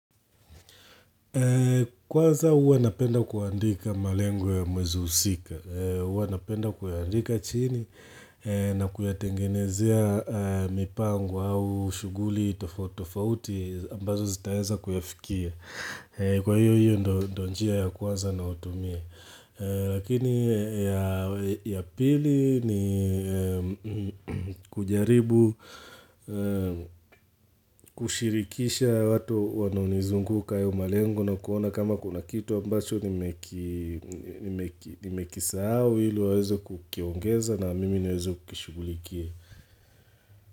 Kwanza huwa napenda kuandika malengo ya mwezi husika. Uwa napenda kuyaandika chini na kuyatengenezea mipango au shughuli tofauti tofauti ambazo zitaeza kuyafikia. Kwa hiyo hiyo ndo njia ya kwanza nayotumia. Lakini ya pili ni kujaribu, kushirikisha watu wanaonizunguka ya umalengo na kuona kama kuna kitu ambacho ni mekisahau ili waweze kukiongeza na mimi niweze kukishughulikia.